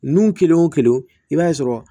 Nun kelen o kelen i b'a sɔrɔ